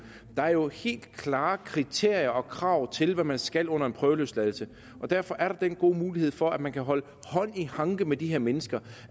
der er jo helt klare kriterier for og krav til hvad man skal under en prøveløsladelse derfor er der den gode mulighed for at man kan holde hånd i hanke med de her mennesker